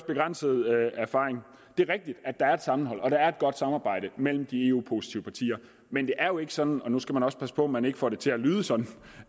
begrænset erfaring det er rigtigt at der er et sammenhold og at der er et godt samarbejde mellem de eu positive partier men det er jo ikke sådan nu skal man også passe på at man ikke får det til at lyde sådan